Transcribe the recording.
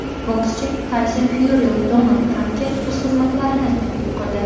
Bokschi Tayson Fyuri Donald Trampga o‘z xizmatlarini taklif qildi.